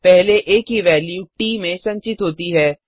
पहले आ की वेल्यू ट में संचित होती है